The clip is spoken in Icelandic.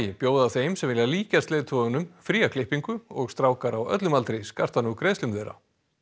bjóða þeim sem vilja líkjast leiðtogunum fría klippingu og strákar á öllum aldri skarta nú greiðslum þeirra